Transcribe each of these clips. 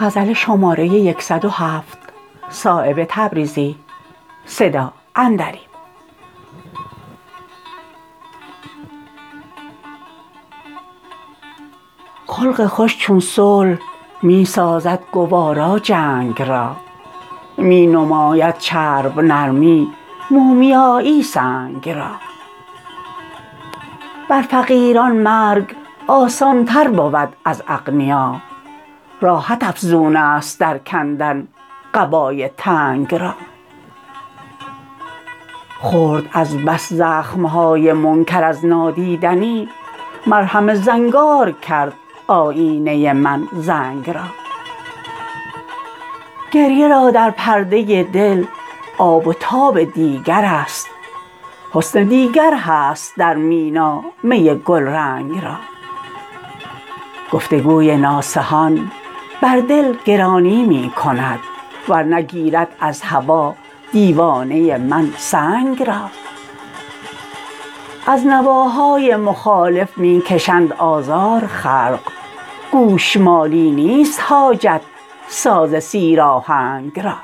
خلق خوش چون صلح می سازد گوارا جنگ را می نماید چرب نرمی مومیایی سنگ را بر فقیران مرگ آسان تر بود از اغنیا راحت افزون است در کندن قبای تنگ را خورد از بس زخم های منکر از نادیدنی مرهم زنگار کرد آیینه من زنگ را گریه را در پرده دل آب و تاب دیگرست حسن دیگر هست در مینا می گلرنگ را گفتگوی ناصحان بر دل گرانی می کند ور نه گیرد از هوا دیوانه من سنگ را از نواهای مخالف می کشند آزار خلق گوشمالی نیست حاجت ساز سیر آهنگ را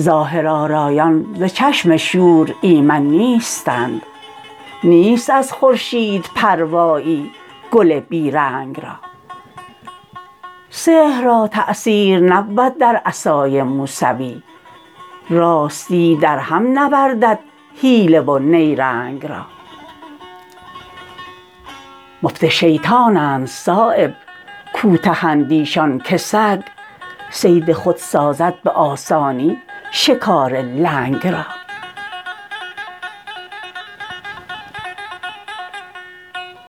ظاهرآرایان ز چشم شور ایمن نیستند نیست از خورشید پروایی گل بی رنگ را سحر را تأثیر نبود در عصای موسوی راستی در هم نوردد حیله و نیرنگ را مفت شیطانند صایب کوته اندیشان که سگ صید خود سازد به آسانی شکار لنگ را